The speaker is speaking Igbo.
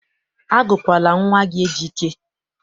Agụkwala nwa gị Ejike!